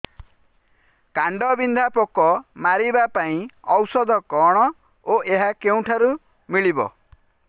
କାଣ୍ଡବିନ୍ଧା ପୋକ ମାରିବା ପାଇଁ ଔଷଧ କଣ ଓ ଏହା କେଉଁଠାରୁ ମିଳିବ